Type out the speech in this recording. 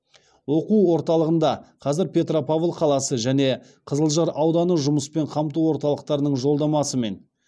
оқу орталығында қазір петропавл қаласы және қызылжар ауданы жұмыспен қамту орталықтарының жолдамасымен